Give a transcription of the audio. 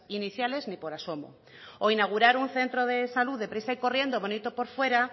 iniciales ni por asomo o inaugurar un centro de salud de prisa y corriendo bonito por fuera